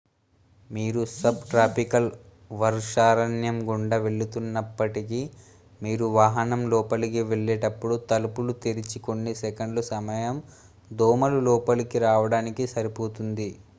మీరు సబ్ట్రాపికల్ వర్షారణ్యం గుండా వెళుతున్నప్పటికీ మీరు వాహనం లోపలికి వెళ్లేటప్పుడు తలుపులు తెరిచిన కొన్ని సెకన్లు సమయం దోమలు లోపలికి రావడానికి సరిపోతుంది